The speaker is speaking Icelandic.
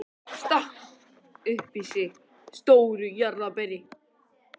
Stakk upp í sig stóru jarðarberi.